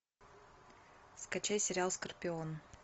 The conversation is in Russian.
скачай сериал скорпион